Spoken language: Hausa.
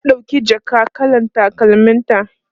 ta ɗauki jaka kalar takalmin ta